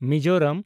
Mizoram